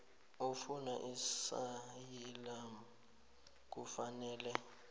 ofuna iasayilamu kufanele